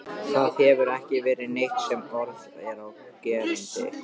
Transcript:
Það hefur ekki verið neitt sem orð er á gerandi.